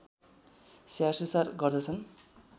स्याहारसुसार गर्दछन्